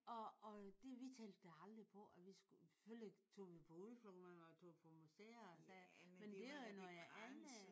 Og og vi tænkte da aldrig på at vi skulle selvfølgelig tog vi på udflugter og man tog på museer og sager. Men det var jo noget andet